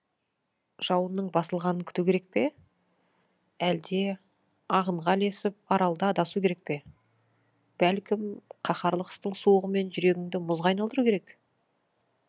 жауынның басылғанын күту керек пе әлде ағынға ілесіп аралда адасу керек пе бәлкім қаһарлы қыстың суығымен жүрегіңді мұзға айналдыру керек